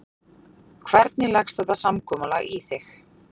Hvernig leggst þetta samkomulag í þig?